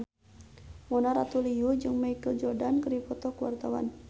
Mona Ratuliu jeung Michael Jordan keur dipoto ku wartawan